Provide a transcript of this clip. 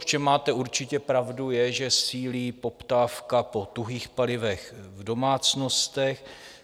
V čem máte určitě pravdu, je, že sílí poptávka po tuhých palivech v domácnostech.